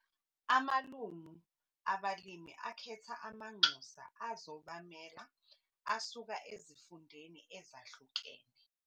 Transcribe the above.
Amalungu abalimi akhetha amanxusa azobamela asuka ezifundeni ezahlukene.